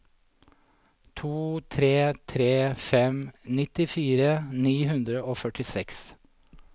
to tre tre fem nittifire ni hundre og førtiseks